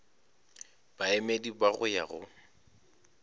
baemedi ba go ya go